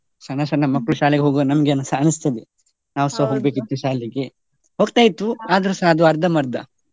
ಸಣ್ಣ ಸಣ್ಣ ಮಕ್ಕಳು ಶಾಲೆಗೆ ಹೋಗ್ವ ನಮ್ಗೆ ಅನಿ~ ಅನಿಸ್ತದೆ, ಹೋಗ್ಬೇಕಿತ್ತು ಶಾಲೆಗೆ, ಹೋಗ್ತಾ ಆದ್ರೆಸಾ ಅದು ಅರ್ಧಂಬರ್ಧ.